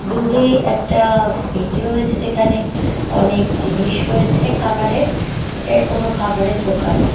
দূরে একটা ফ্ৰিজ রয়েছে যেখানে অনেক জিনিস রয়েছে খাবারের এটা কোনো খাবারের দোকান ।